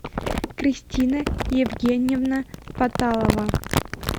кристина евгеньевна паталова